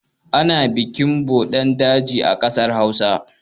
Ana bikin budin daji a ƙasar Hausa.